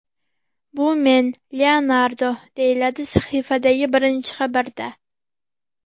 Bu men, Leonardo”, deyiladi sahifadagi birinchi xabarda.